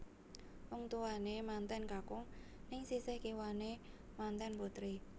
Wong tuwane manten kakung neng sisih kiwane manten putri